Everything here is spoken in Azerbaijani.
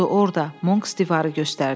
Odur orda, Monks divarı göstərdi.